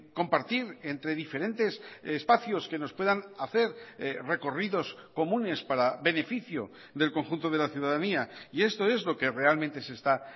compartir entre diferentes espacios que nos puedan hacer recorridos comunes para beneficio del conjunto de la ciudadanía y esto es lo que realmente se está